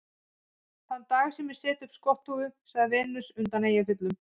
Þann dag sem ég set upp skotthúfu, sagði Venus undan Eyjafjöllum